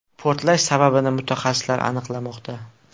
Portlash sababini mutaxassislar aniqlamoqda.